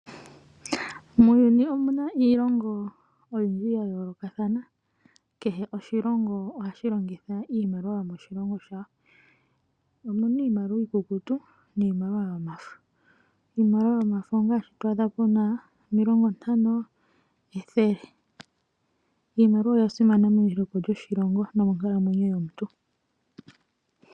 Muuyuni omu na iilongo oyindji yayoolokathana, kehe oshilongo ohashi longitha iimaliwa yomoshilongo shawo. Omu na iimaliwa iikukutu niimaliwa yomafo, iimaliwa yomafo ongaashi to adha pu na o50 nethele. Iimaliwa oya simana meliko lyoshilongo nomonkalamwenyo yomuntu.